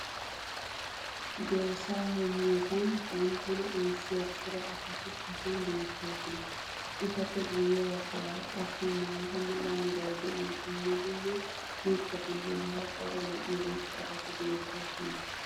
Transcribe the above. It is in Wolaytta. dorssaa heemiyoogan banttana ayssiya cora asati hagan beetoosona. etappe guye bagaara qassi maata mala meray diyo dumma dumma mitatinne hara daro lo'iya irxxabati beetoosona.